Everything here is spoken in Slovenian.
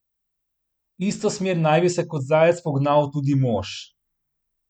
V isto smer naj bi se kot zajec pognal tudi mož.